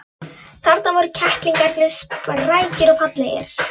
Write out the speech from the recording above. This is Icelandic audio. Þarna voru kettlingarnir, sprækir og fallegir.